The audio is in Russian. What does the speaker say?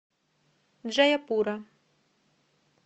джаяпура